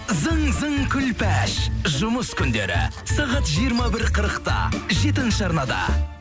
зың зың күлпәш жұмыс күндері сағат жиырма бір қырықта жетінші арнада